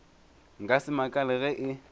nka se makale ge e